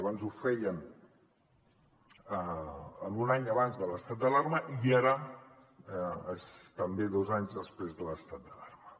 abans ho feien un any abans de l’estat d’alarma i ara també dos anys després de l’estat d’alarma